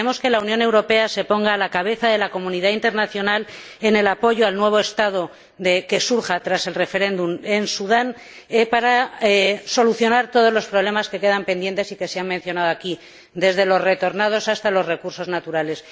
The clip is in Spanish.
Esperemos que la Unión Europea se ponga a la cabeza de la comunidad internacional en el apoyo al nuevo Estado que surja tras el referéndum en Sudán, para solucionar todos los problemas que quedan pendientes y que se han mencionado aquí, desde los retornados hasta los recursos naturales.